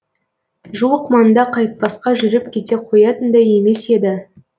жуық маңда қайтпасқа жүріп кете қоятындай емес еді